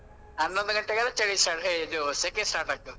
ಹನ್ನೊಂದು ಗಂಟೆಗೆಲ್ಲ ಚಳಿ start ಹೇ ಇದು ಸೆಖೆ start ಆಗ್ತದೆ.